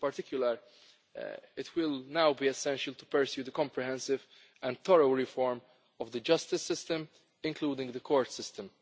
In particular, it will now be essential to pursue the comprehensive and thorough reform of the justice system, including the court system.